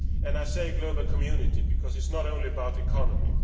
I say global community' because it is not only about the economy